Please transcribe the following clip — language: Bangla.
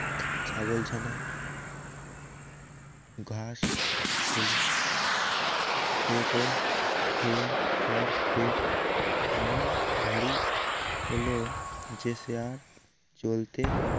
ছাগলছানা ঘাস খেলো সে তো খেয়ে তার পেট এমন ভারী হল যে সে আর চলতে